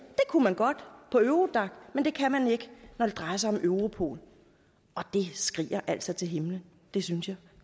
kunne man godt på eurodac men det kan man ikke når det drejer sig om europol og det skriger altså til himlen det synes jeg